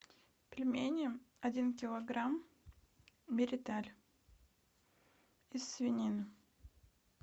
пельмени один килограмм мириталь из свинины